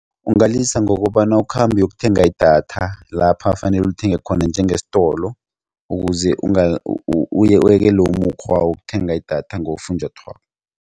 Ungawulisa ngokobana ukhambe uyokuthenga idatha lapha fanele ulithenge khona njengesitolo ukuze uyekele umukghwa wokuthenga idatha ngofunjathwako.